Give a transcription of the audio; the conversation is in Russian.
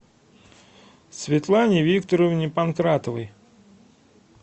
светлане викторовне панкратовой